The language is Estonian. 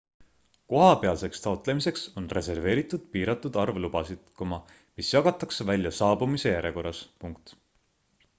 kohapealseks taotlemiseks on reserveeritud piiratud arv lubasid mis jagatakse välja saabumise järjekorras